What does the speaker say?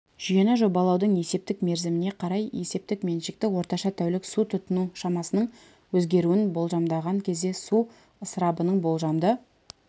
жүйені жобалаудың есептік мерзіміне қарай есептік меншікті орташа тәулік су тұтыну шамасының өзгеруін болжамдаған кезде су ысырабының болжамды